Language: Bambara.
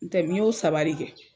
N tɛ n y'o saba de kɛ.